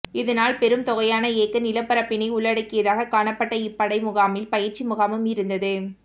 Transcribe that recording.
இதனால் பெரும் தொகையான ஏக்கர் நிலப்பரப்பினை உள்ளடக்கியதாக காணப்பட்ட இப்படைமுகாமில் பயிற்சி முகாமும் இருந்தது